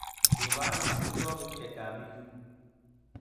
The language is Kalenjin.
Kiba ano amitwogik chevkami yu?